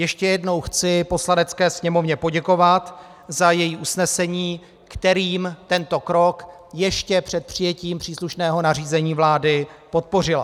Ještě jednou chci Poslanecké sněmovně poděkovat za její usnesení, kterým tento krok ještě před přijetím příslušného nařízení vlády podpořila.